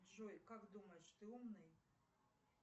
джой как думаешь ты умный